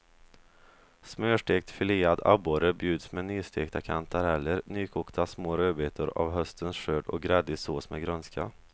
Smörstekt filead abborre bjuds med nystekta kantareller, nykokta små rödbetor av höstens skörd och gräddig sås med grönska.